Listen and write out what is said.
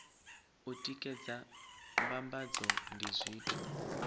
u tikedza mbambadzo ndi zwithu